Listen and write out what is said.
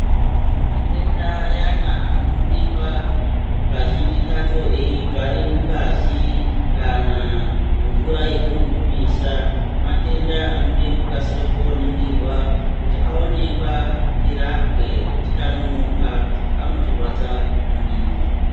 Matenda ayani anoonekwa kazhinji kachona eigara mungazi kana mvura yatinobudisa matenda anoda kukasira koningirwa kuti aonekwa tirapwe tikanonoka anoti rwadza maningi.